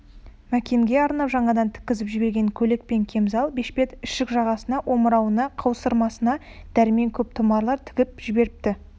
мәкенге арнап жаңадан тіккізіп жіберген көйлек пен кемзал бешпет ішік жағасына омырауына қаусырмасына дәрмен көп тұмарлар тігіп жіберіпті